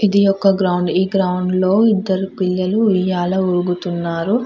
ఇది ఒక గ్రౌండ్ ఈ గ్రౌండ్ లో ఇద్దరు పిల్లలు ఉయ్యాలా ఉగుతున్నారు.